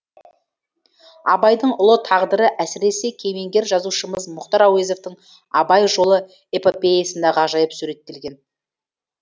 абайдың ұлы тағдыры әсіресе кемеңгер жазушымыз мұхтар әуезовтің абай жолы эпопеясында ғажайып суреттелген